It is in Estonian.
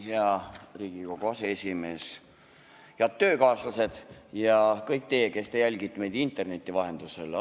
Hea Riigikogu aseesimees, head töökaaslased ja kõik teie, kes te jälgite meid interneti vahendusel!